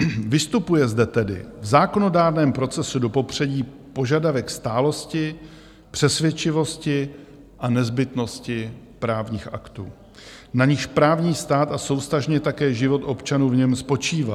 "Vystupuje zde tedy v zákonodárném procesu do popředí požadavek stálosti, přesvědčivosti a nezbytnosti právních aktů, na nichž právní stát a souvztažně také život občanů v něm spočívá.